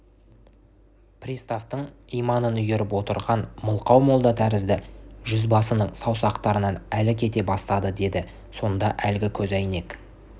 приставтың иманын үйіріп отырған мылқау молда тәрізді жүзбасының саусақтарынан әл кете бастады деді сонда әлгі көзәйнек